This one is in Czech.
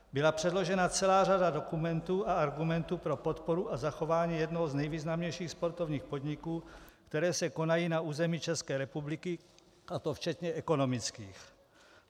Byla předložena celá řada dokumentů a argumentů pro podporu a zachování jednoho z nejvýznamnějších sportovních podniků, které se konají na území České republiky, a to včetně ekonomických.